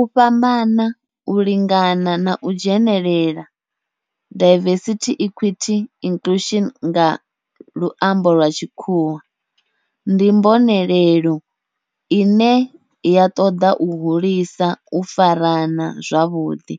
U fhambana, u lingana na u dzhenelela, diversity, equity and inclusion nga lwambo lwa tshikhuwa, ndi mbonelelo ine ya toda u hulisa u farana zwavhudi,